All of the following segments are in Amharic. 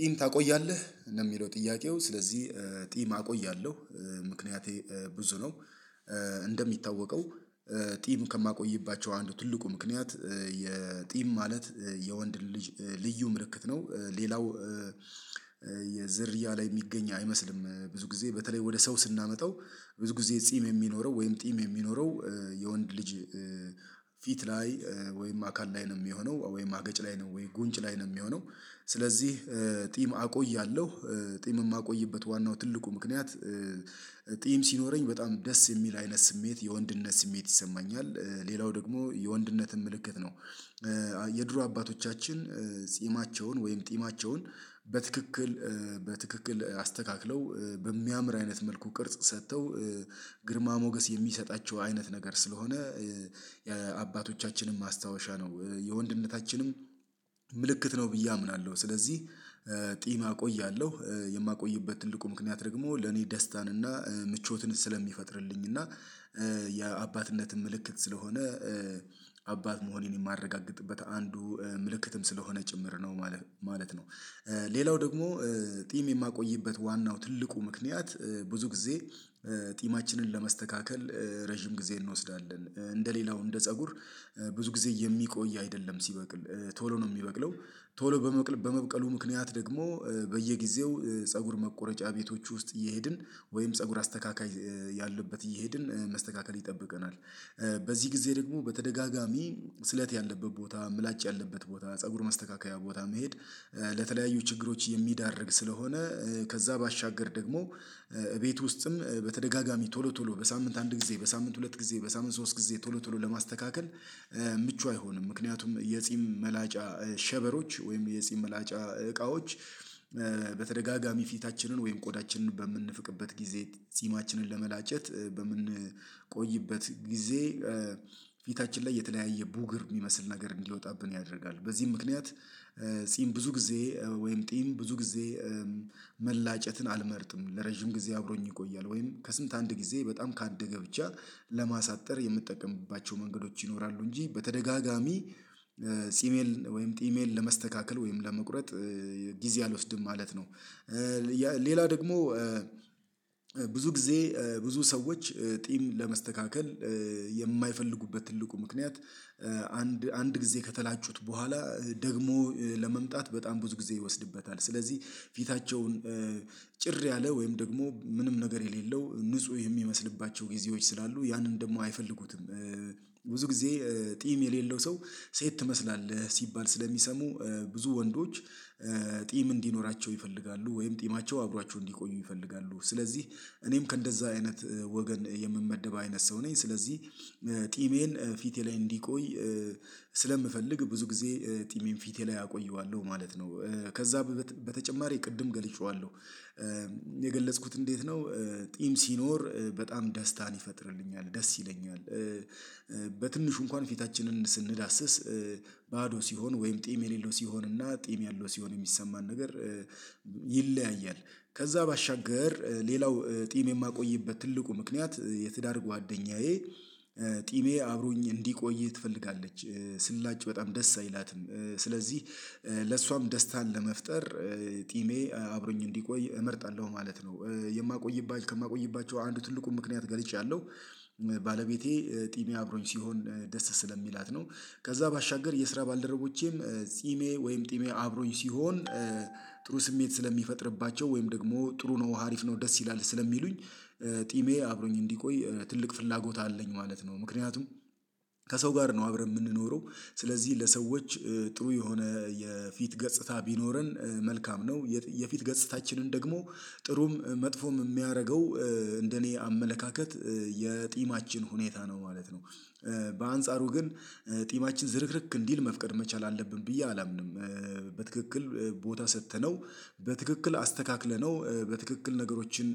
"ጢም ታቆያለህ?" የሚለው ጥያቄው፤ ስለዚህ ጢም አቆያለሁ፤ ምክንያቴ ብዙ ነው። እንደሚታወቀው ጢም ከማቆይባቸው አንዱ ትልቁ ምክንያት የጢም ማለት የወንድ ልጅ ልዩ ምልክት ነው፤ ሌላው ዝርያ ላይ የሚገኝ አይመስልም፤ ብዙ ጊዜ በተለይ ወደ ሰው ስናመጣው ብዙ ጊዜ ጢም የሚኖረው ወይም ጢም የሚኖረው የወንድ ልጅ ፊት ላይ ወይም አካል ላይ ነው የሚሆነው ወይም አገጭ ላይ ነው ወይ ጉንጭ ላይ ነው የሚሆነው፤ ስለዚህ ጢም አቆያለሁ፤ ጢም የማቆይበት ዋናው ትልቁ ምክንያት ጢም ሲኖረኝ በጣም ደስ የሚል አይነት ስሜት፣ የወንድነት ስሜት ይሰማኛል፤ ሌላው ደግሞ የወንድነት ምልክት ነው። የድሮ አባቶቻችን ጺማቸውን ወይም ጢማቸውን በትክክል በትክክል አስተካክለው በሚያምር አይነት መልኩ ቅርጽ ሰጥተው ግርማ ሞገስ የሚሰጣቸው አይነት ነገር ስለሆነ የአባቶቻችን ማስታወሻ ነው፤ የወንድነታችንም ምልክት ነው ብዬ አምናለሁ፤ ስለዚህ ጢም አቆያለሁ፤ የማቆይበት ትልቁ ምክንያት ደግሞ ለእኔ ደስታን እና ምቾትን ስለሚፈጥርልኝ እና የአባትነት ምልክት ስለሆነ፣ አባት መሆኔን የማረጋግጥበት አንዱ ምልክትም ስለሆነ ጭምር ነው ማለት ነው። ሌላው ደግሞ ጢም የማቆይበት ዋናው ትልቁ ምክንያት ብዙ ጊዜ ጢማችንን ለመስተካከል ረጅም ጊዜ እንወስዳለን፤ እንደ ሌላው፣ እንደ ፀጉር ብዙ ጊዜ የሚቆይ አይደለም፤ ሲበቅል ቶሎ ነው የሚበቅለው፤ ቶሎ በመብቀሉ ምክንያት ደግሞ በየጊዜው ፀጉር መቆረጫ ቤቶች ውስጥ እየሄድን ወይም ፀጉር አስተካካይ ያለበት እየሄድን መስተካከል ይጠብቀናል። በዚህ ጊዜ ደግሞ በተደጋጋሚ ስለት ያለበት ቦታ፣ ምላጭ ያለበት ቦታ፣ ፀጉር ማስተካከያ ቦታ መሄድ ለተለያዩ ችግሮች የሚዳርግ ስለሆነ፤ ከዚያ ባሻገር ደግሞ እቤት ውስጥም በተደጋጋሚ ቶሎ ቶሎ በሳምንት አንድ ጊዜ፣ በሳምንት ሁለት ጊዜ፣ በሳምንት ሶስት ጊዜ ቶሎ ቶሎ ለማስተካከል ምቹ አይሆንም፤ ምክንያቱም የጢም መላጫ ሸበሮች ወይም የጢም መላጫ እቃዎች በተደጋጋሚ ፊታችንን ወይም ቆዳችንን በምንፍቅበት ጊዜ፣ ጢማችንን ለመላጨት በምንቆይበት ጊዜ ፊታችን ላይ የተለያየ ቡግር የሚመስል ነገር እንዲወጣብን ያደርጋል፤ በዚህም ምክንያት ጺም ብዙ ጊዜ ወይም ጢም ብዙ ጊዜ መላጨትን አልመርጥም፤ ለረጅም ጊዜ አብሮኝ ይቆያል፤ ወይም ከሳምንት አንድ ጊዜ በጣም ካደገ ብቻ ለማሳጠር የምትጠቀምባቸው መንገዶች ይኖራሉ እንጂ በተደጋጋሚ ጺሜን ወይም ጢሜን ለመስተካከል ወይም ለመቁረጥ ጊዜ አልወስድም ማለት ነው። ሌላ ደግሞ ብዙ ጊዜ ብዙ ሰዎች ጢም ለመስተካከል የማይፈልጉበት ትልቁ ምክንያት አንድ አንድ ጊዜ ከተላጩት በኋላ ደግሞ ለመምጣት በጣም ብዙ ጊዜ ይወስድበታል፤ ስለዚህ ፊታቸውን ጭር ያለ ወይም ደግሞ ምንም ነገር የሌለው፣ ንጹህ የሚመስልባቸው ጊዜዎች ስላሉ፤ ያንን ደግሞ አይፈልጉትም። ብዙ ጊዜ ጢም የሌለው ሰው "ሴት ትመስላለህ" ሲባል ስለሚሰሙ፣ ብዙ ወንዶች ጢም እንዲኖራቸው ይፈልጋሉ፤ ወይም ጢማቸው አብሯቸው እንዲቆይ ይፈልጋሉ፤ ስለዚህ እኔም ከእንደዚያ አይነት ወገን የምመደብ አይነት ሰው ነኝ፤ ስለዚህ ጢሜን ፊቴ ላይ እንዲቆይ ስለምፈልግ፣ ብዙ ጊዜ ጢሜን ፊቴ ላይ አቆየዋለሁ ማለት ነው፤ ከዚያ በተጨማሪ ቅድም ገልጬዋለሁ የገለጽኩት እንዴት ነው፤ ጢም ሲኖር በጣም ደስታን ይፈጥርልኛል፤ ደስ ይለኛል። በትንሹ እንኳን ፊታችንን ስንዳስስ ባዶ ሲሆን ወይም ጢም የሌለው ሲሆን እና ጢም ያለው ሲሆን የሚሰማን ነገር ይለያያል፤ ከዚያ ባሻገር ሌላው ጢም የማቆይበት ትልቁ ምክንያት የትዳር ጓደኛዬ ጢሜ አብሮኝ እንዲቆይ ትፈልጋለች፤ ስላጭ በጣም ደስ አይላትም፤ ስለዚህ ለእሷም ደስታን ለመፍጠር ጢሜ አብሮኝ እንዲቆይ እመርጣለሁ ማለት ነው። የማቆይባቸው፣ ከማቆይባቸው አንዱ ትልቁን ምክንያት ገልጫለሁ፤ ባለቤቴ ጢሜ አብሮኝ ሲሆን ደስ ስለሚላት ነው። ከዚያ ባሻገር የስራ ባልደረቦቼም ጢሜ ወይም ጢሜ አብሮኝ ሲሆን ጥሩ ስሜት ስለሚፈጥርባቸው፣ ወይም ደግሞ "ጥሩ ነው፣ አሪፍ ነው፣ ደስ ይላል" ስለሚሉኝ ጢሜ አብሮኝ እንዲቆይ ትልቅ ፍላጎት አለኝ ማለት ነው፤ ምክንያቱም ከሰው ጋር ነው አብረን የምንኖረው፤ ስለዚህ ለሰዎች ጥሩ የሆነ የፊት ገጽታ ቢኖረን መልካም ነው። የፊት ገጽታችንን ደግሞ ጥሩም መጥፎም የሚያደርገው፣ እንደ እኔ አመለካከት የጢማችን ሁኔታ ነው ማለት ነው። በአንጻሩ ግን ጢማችን ዝርክርክ እንዲል መፍቀድ መቻል አለብን ብዬ አላምንም። በትክክል ቦታ ሰጥተነው፣ በትክክል አስተካክለነው፣ በትክክል ነገሮችን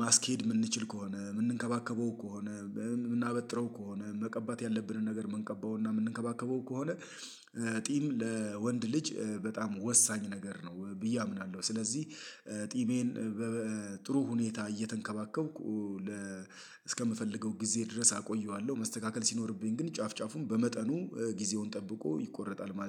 ማስኬድ የምንችል ከሆነ፣ የምንንከባከበው ከሆነ፣ የምናበጥረው ከሆነ፣ መቀባት ያለብንን ነገር የምንቀባውና የምንንከባከበው ከሆነ ጢም ለወንድ ልጅ በጣም ወሳኝ ነገር ነው ብዬ አምናለሁ፤ ስለዚህ ጢሜን በጥሩ ሁኔታ እየተንከባከብኩ፣ እስከምፈልገው ጊዜ ድረስ አቆየዋለሁ። መስተካከል ሲኖርበት ግን ጫፍ ጫፉን በመጠኑ ጊዜውን ጠብቆ ይቆረጣል ማለት ነው።